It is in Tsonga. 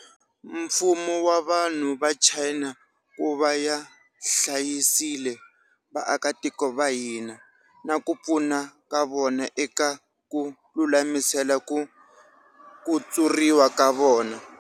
Mfumo na vanhu va China ku ya hlayisile vaakitiko va hina, na ku pfuna ka vona eka ku lulamisela ku kutsuriwa ka vona.